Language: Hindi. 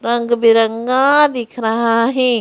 रंग बिरंगा दिख रहा है।